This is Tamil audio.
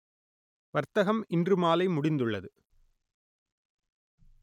வர்த்தகம் இன்று மாலை முடிந்துள்ளது